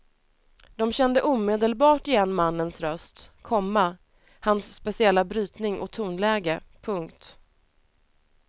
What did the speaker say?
De kände omedelbart igen mannens röst, komma hans speciella brytning och tonläge. punkt